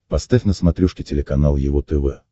поставь на смотрешке телеканал его тв